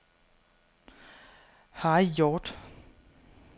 Harry Hjort